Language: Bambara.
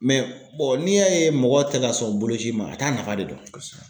n'i y'a ye mɔgɔ tɛ ka sɔn boloci ma a t'a nafa de dɔn kosɛbɛ.